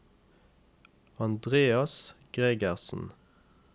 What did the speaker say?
Andreas Gregersen